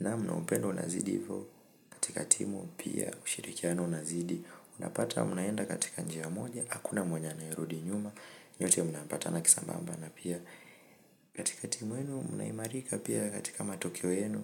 na upendo unazidi hivyo, katika timu pia ushirikiano unazidi, unapata mnaenda katika njia moja, hakuna mwenye anaerudi nyuma, nyote munaambata na kisambamba na pia katika timu yenu mnaimarika pia katika matokeo yenu.